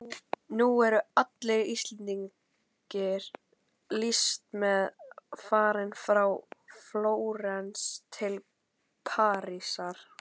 Nú eru allir íslenskir listamenn farnir frá Flórens til Parísar.